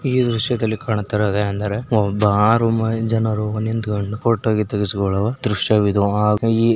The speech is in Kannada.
ಈ ದೃಶ್ಯದಲ್ಲಿ ಕಾಣುತ್ತಿರುವುದು ಏನೆಂದರೆ ಒಂದು ಆರು ಜನರು ನಿಂತುಕೊಂಡು ಫೋಟೋ ತಗುಸ್ಕೊವ ದೃಶ್ಯವಿದು ಈ --